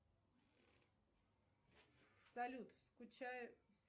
салют скучаю